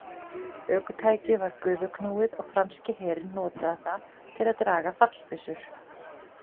Ökutækið var gufuknúið og franski herinn notaði það til að draga fallbyssur.